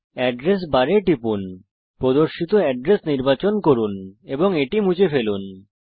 address bar এ টিপুন প্রদর্শিত এড্রেস নির্বাচন করুন এবং এটি মুছে ফেলুন